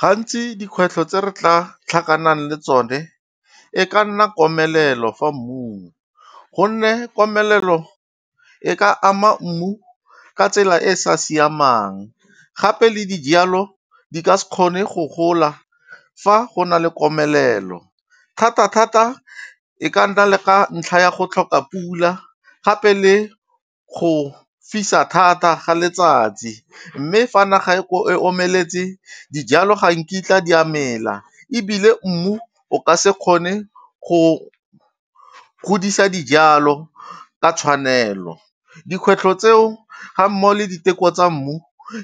Gantsi dikgwetlho tse re tla tlhakanang le tsone e ka nna komelelo fa mmung. Gonne komelelo e ka ama mmu ka tsela e e sa siamang, gape le dijalo di ka se kgone go gola fa go na le komelelo. Thata-thata e ka nna le ka ntlha ya go tlhoka pula gape le go fisa thata ga letsatsi, mme fa naga e omeletse dijalo ga nkitla di mela. Ebile mmu o ka se kgone go godisa dijalo ka tshwanelo. Dikgwetlho tseo ga mmogo le diteko tsa mmu